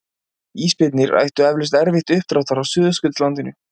Ísbirnir ættu eflaust erfitt uppdráttar á Suðurskautslandinu.